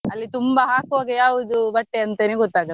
ಅಲ್ಲಿ ತುಂಬ ಹಾಕುವಾಗ ಯಾವ್ದು ಬಟ್ಟೆ ಅಂತಾನೆ ಗೊತ್ತಾಗಲ್ಲ.